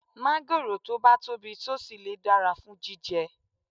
Máńgòrò tó bá tóbi tó sì le dára fún jíjẹ